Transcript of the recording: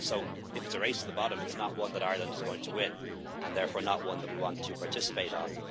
ours. So if it is a race the bottom, it is not one that Ireland is going to win and, therefore, it is not one that we want to participate